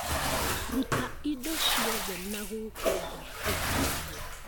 Ruta indo iothe nagũkũ nja tũthambie